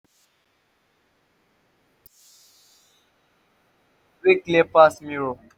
yu must to start yur day wit focus wey clear pass mirror